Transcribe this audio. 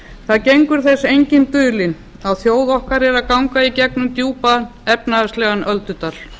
það gengur þess enginn dulinn að þjóð okkar er að ganga í gegnum djúpan efnahagslegan öldudal